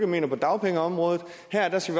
mener på dagpengeområdet og her skal